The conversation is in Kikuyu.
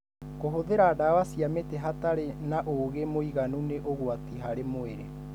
Kũhũthira ndawa cia mĩtĩ hatarĩ na ũgĩ mwiganu nĩ ũgwati harĩ mwĩrĩ.